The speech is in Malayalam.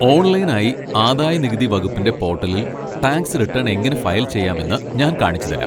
ഓൺലൈനായി ആദായ നികുതി വകുപ്പിൻ്റെ പോട്ടലിൽ ടാക്സ് റിട്ടേൺ എങ്ങനെ ഫയൽ ചെയ്യാമെന്ന് ഞാൻ കാണിച്ചുതരാം.